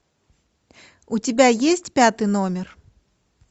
у тебя есть пятый номер